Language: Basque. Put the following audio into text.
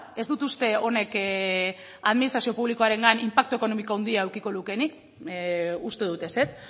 ez dut uste honek administrazio publikoarengan inpaktu ekonomiko handia edukiko lukeenik uste dut ezetz